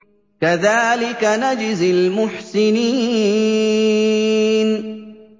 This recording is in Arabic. كَذَٰلِكَ نَجْزِي الْمُحْسِنِينَ